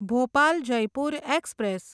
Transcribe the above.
Bhopal Jaipur express